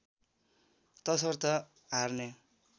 तसर्थ हार्ने